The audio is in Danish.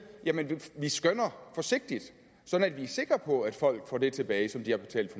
vi skønner forsigtigt sådan at vi er sikre på at folk får det tilbage som de har betalt